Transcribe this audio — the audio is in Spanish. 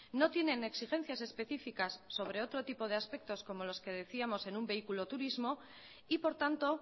no tienen exigencias específicas sobre otro tipo de aspectos como los que decíamos en un vehículo turismo y por tanto